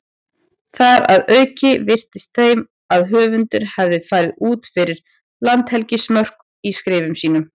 Þar að auki virtist þeim að höfundur hefði farið út fyrir landhelgismörk í skrifum sínum.